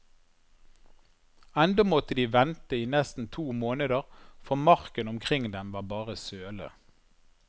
Ennå måtte de vente i nesten to måneder, for marken omkring dem var bare søle.